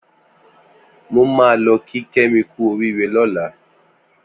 Mò mà lọ kí Kemi kù óriré lọ̀là